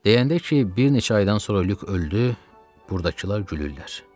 Deyəndə ki, bir neçə aydan sonra Lük öldü, burdakılar gülürlər.